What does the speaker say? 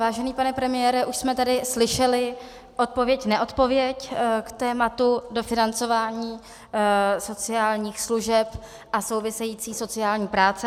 Vážený pane premiére, už jsme tady slyšeli odpověď neodpověď k tématu dofinancování sociálních služeb a související sociální práce.